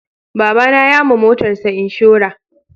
Baba na ya ma motarsa inshora